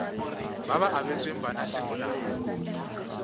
ba ba abetsweng bana semolao